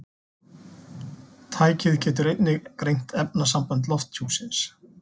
Tækið getur einnig greint efnasambönd lofthjúpsins.